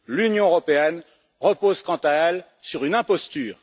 L'Union européenne repose, quant à elle, sur une imposture.